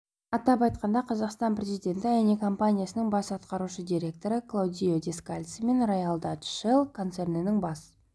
атап айтқанда қазақстан президенті эни компаниясының бас атқарушы директоры клаудио дескальцимен ройял датч шелл концернінің бас